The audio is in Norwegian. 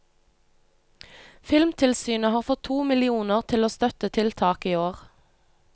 Filmtilsynet har fått to millioner til å støtte tiltak i år.